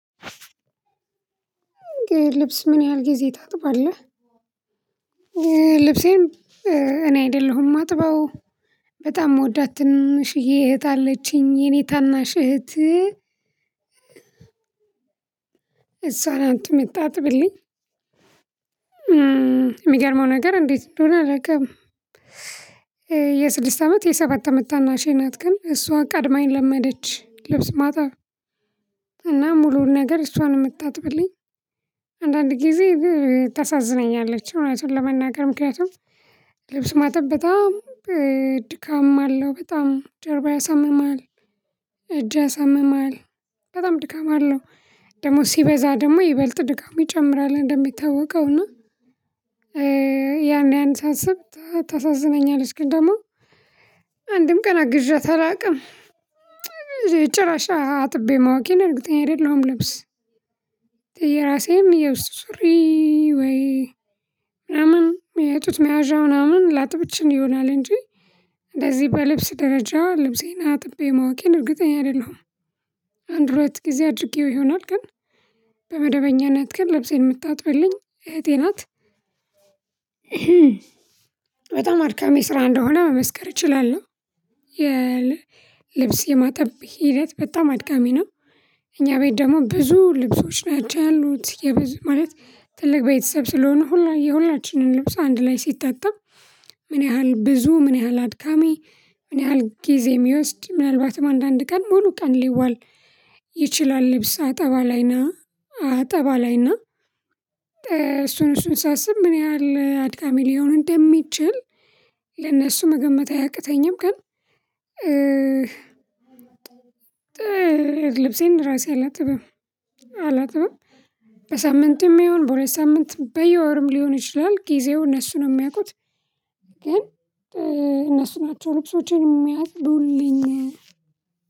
ልብስ ምን ያህል ጊዜ ታጥባለህ? ልብሴም እኔ አይደለሁም ማጥባው በጣም ሞዳት ትንሽዬ እህት አለችኝ የኔ ታናሽ እህት እሷ ናት የምታጥብልኝ። የሚገርመው ነገር እንዴት እንደሆነ አላውቅም። የስድስት አመት የሰባት አመት ታናሼ ናት ግን እሷ ቀድማኝ ለመደች ልብስ ማጣር። እና ሙሉውን ነገር እሷን የምታጥብልኝ አንዳንድ ጊዜ ታሳዝነኛለች። እውነቱን ለመናገር ምክንያቱም ልብስ ማጠብ በጣም ድካም አለው በጣም ጀርባ ያሳምማል። እጅ ያሳምማል በጣም ድካም አለው። ደግሞ ሲበዛ ደግሞ ይበልጥ ድካም ይጨምራል እንደሚታወቀው እና። ያን ያን ሳስብ ታሳዝነኛለሽ። ግን ደግሞ አንድም ቀን አግዣት አላቅም። ጭራሽ አጥቤ ማወቄን እርግጠኛ አይደለሁም። ልብስ የራሴም የውስጥ ሱሪ ወይ አምም የጡት መያዣ ምናምን ላጥብ እችል ይሆናል እንጂ እንደዚህ በልብስ ደረጃ ልብሴን አጥቤ ማወቄን እርግጠኛ አይደለሁም። አንድ ሁለት ጊዜ አድርጌው ይሆናል ግን በመደበኛነት ግን ለብሴን የምታጥብልኝ እህቴ ናት። በጣም አድካሚ ስራ እንደሆነ መመስከር እችላለሁ። የልብስ የማጠብ ሂደት በጣም አድካሚ ነው። እኛ ቤት ደግሞ ብዙ ልብሶች ናቸው ያሉት ማለት ትልቅ ቤተሰብ ስለሆኑ ሁላ የሁላችንን ልብስ አንድ ላይ ሲጣጣብ። ምን ያህል ብዙ ምን ያህል አድካሚ ምን ያህል ጊዜ የሚወስድ ምናልባትም አንዳንድ ቀን ሙሉ ቀን ሊዋል። ይችላል ልብስ አጠባ ላይና አጠባ ላይና እሱን እሱን ሳስብ ምን ያህል አድካሚ ሊሆን እንደሚችል ለእነሱ መገመት አያቅተኝም። ግን ልብሴን ራሴ አላጥብም። አላጥብም በሳምንትም ይሁን በሁለት ሳምንትም በየወርም ሊሆን ይችላል ጊዜው እነሱን ነው የሚያውቁት። ግን እነሱ ናቸው ልብሶቼን የሚያጥቡልኝ።